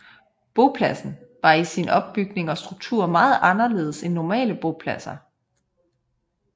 Bopladsen var i sin opbygning og struktur meget anderledes end normale bopladser